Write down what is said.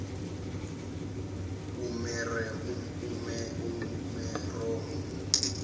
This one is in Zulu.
umeromo